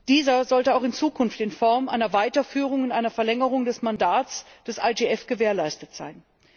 Dieser sollte auch in Zukunft in Form einer Weiterführung und einer Verlängerung des Mandats des IGF gewährleistet sein.